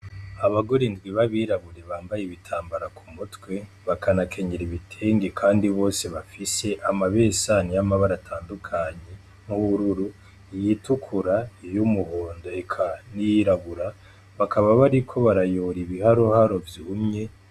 Abagore indwi ba birabure bambaye ibitambara ku mutwe baka na kenyera ibitenge, kandi bose bafise amabesani y'amabara atandukanye nk'ubururu, iy'itukura, uy'umuhondo, eka n'iyirabura, bakaba bariko barayora ibiharoharo vyumye.